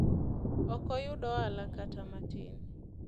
ok oyud ohala kata matin